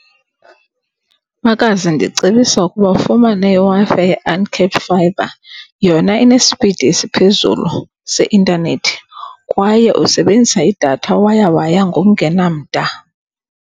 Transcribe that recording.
Makazi, ndicebisa ukuba ufumane iWi-Fi ye-uncapped fibre. Yona inespidi esiphezulu seintanethi kwaye usebenzisa idatha waya waya ngokungenamda.